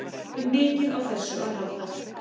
Þurftum mikið á þessu að halda.